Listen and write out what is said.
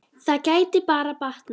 Það gæti bara batnað!